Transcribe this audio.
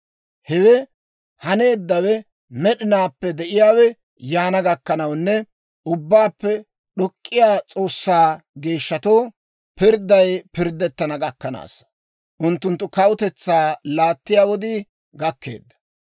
Hewe haneeddawe, Med'inaappe De'iyaawe yaana gakkanawunne, Ubbaappe d'ok'k'iyaa S'oossaa geeshshatoo pirdday pirddettana gakkanaassa; unttunttu kawutetsaa laattiyaa wodiikka gakkeedda.